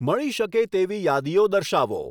મળી શકે તેવી યાદીઓ દર્શાવો